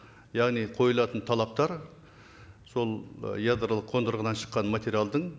яғни қойылатын талаптар сол ы ядролық қондырғыдан шыққан материалдың